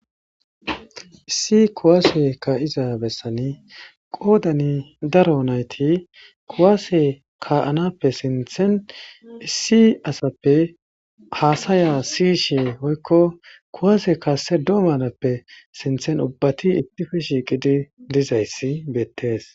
Issi kuwase ka'iza bessani qoodani daro nayti kuwase ka'anappe sinthen issi asappe haasaya siyshe hoykko kuwase kasse doomanappe sinthen ubbati ittife shiiqidi dizayssi beettees.